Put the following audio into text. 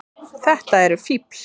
Þetta eru fífl.